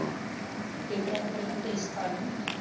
Paper ਤੋਂ ਪਹਿਲਾ fees ਤਾਰਨੀ ਹੈ।